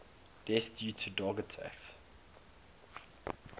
deaths due to dog attacks